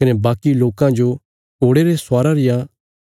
कने बाकी लोकां जो घोड़े रे स्वारा रिया